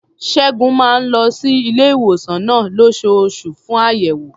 Ṣẹ́gun máa ń lọ sí ilé-ìwòsàn náà lóṣooṣù fún àyẹ̀wò.